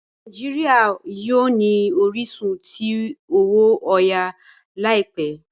Nàìjíríà yíò ni orisun tí owo oya láìpé.